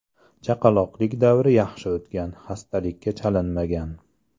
Chaqaloqlik davri yaxshi o‘tgan, xastalikka chalinmagan.